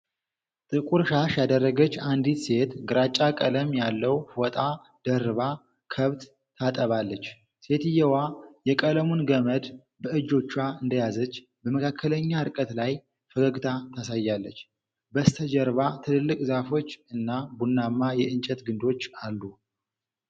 ጥቁር ሻሽ ያደረገች አንዲት ሴት ግራጫ ቀለም ያለው ፎጣ ደርባ ከብት ታጠባለች። ሴትየዋ የቀለሙን ገመድ በእጆቿ እንደያዘች በመካከለኛ ርቀት ላይ ፈገግታ ታሳያለች። በስተጀርባ ትልልቅ ዛፎች እና ቡናማ የእንጨት ግንዶች አሉ።